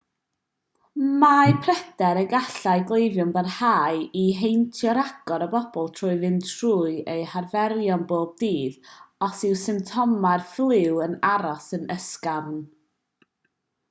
mae pryder y gallai cleifion barhau i heintio rhagor o bobl trwy fynd trwy eu harferion pob dydd os yw symptomau'r ffliw yn aros yn ysgafn